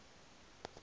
woke wenarha gdp